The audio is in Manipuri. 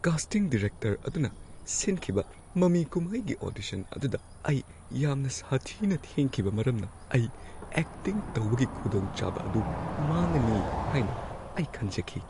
ꯀꯥꯁꯇꯤꯡ ꯗꯤꯔꯦꯛꯇꯔ ꯑꯗꯨꯅ ꯁꯤꯟꯈꯤꯕ ꯃꯃꯤ ꯀꯨꯝꯍꯩꯒꯤ ꯑꯣꯗꯤꯁꯟ ꯑꯗꯨꯗ ꯑꯩ ꯌꯥꯝꯅ ꯁꯥꯊꯤꯅ ꯊꯦꯡꯈꯤꯕ ꯃꯔꯝꯅ ꯑꯩ ꯑꯦꯛꯇꯤꯡ ꯇꯧꯕꯒꯤ ꯈꯨꯗꯣꯡꯆꯥꯕ ꯑꯗꯨ ꯃꯥꯡꯉꯅꯤ ꯍꯥꯏꯅ ꯑꯩ ꯈꯟꯖꯈꯤ꯫